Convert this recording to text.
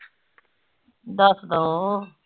ਦੱਸਦੋ